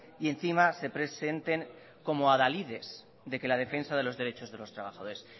y encima se presenten como adalides de que la defensa de los derechos de los trabajadores